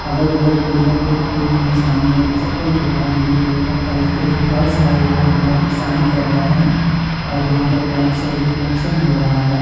अगल-बगल पोडियम पर कोई नहीं है। सामने एक चप्पल दिख रहा है ब्लू कलर का था। इसके जो फर्श है वह बोहोत ही साइन कर रहा है और यहां पर लाइट सब रिफ्लेक्शन हो रहा है।